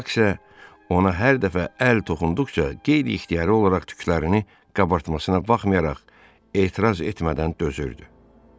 Bak isə ona hər dəfə əl toxunduqca qeyri-ixtiyari olaraq tüklərini qabartmasına baxmayaraq, etiraz etmədən dözürdü.